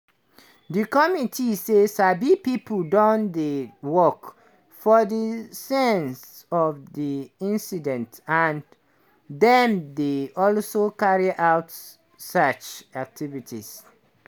di committee say sabi pipo don dey work for di scene of di incident and dem dey also carry out search activities.